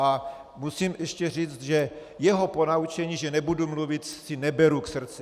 A musím ještě říct, že jeho ponaučení, že nebudu mluvit, si neberu k srdci.